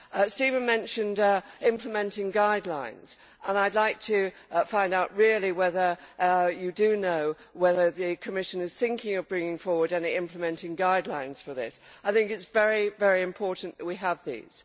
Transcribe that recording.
Stephen mentioned implementing guidelines, and I would like to find out really whether you do know whether the Commission is thinking of bringing forward any implementing guidelines for this I think it is very important that we have these.